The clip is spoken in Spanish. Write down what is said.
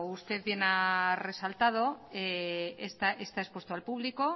usted bien ha resaltado está expuesto al público